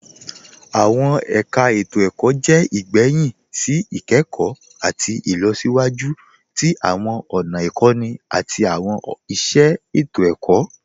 Awọn ẹ̀kà ètò-ẹ̀kọ̀ jẹ́ igbẹ̀hìn sí ikẹkọ̀ àti ilọ̀síwájú tí awọn ọ̀nà ikọ̀nì àti awọn iṣẹ ètò-ẹ̀kọ̀.